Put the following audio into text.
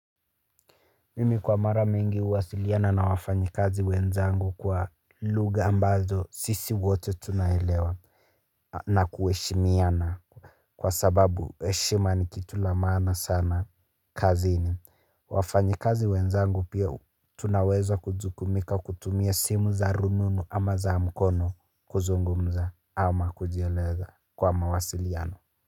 Mimi kwa mara mingi huwasiliana na wafanyikazi wenzangu kwa lugha ambazo sisi wote tuna elewa na kuheshimiana kwa sababu heshima ni kitu la maana sana kazini. Wafanyikazi wenzangu pia tunaweza kujukumika kutumia simu za rununu ama za mkono kuzungumza, ama kujieleza kwa mawasiliano.